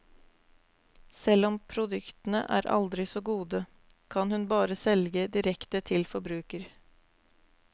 Selv om produktene er aldri så gode, kan hun bare selge direkte til forbruker.